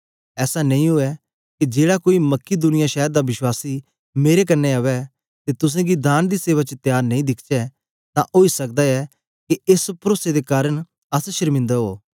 ऐसा नेई ऊऐ के जेड़ा कोई मकिदुनिया शैर दा विश्वास मेरे कन्ने अवै ते तुसेंगी दान दी सेवा च त्यार नेई दिखचै तां ओई सकदा ऐ के एस परोसे दे कारन अस ए नेई आखनयां के तोस शर्मिंदे उवो